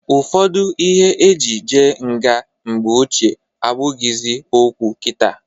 Ụfọdụ ihe e ji je nga mgbe ochie abụghịzị okwu kita.